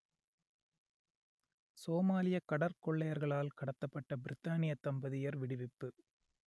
சோமாலியக் கடற்கொள்ளையர்களால் கடத்தப்பட்ட பிரித்தானியத் தம்பதியர் விடுவிப்பு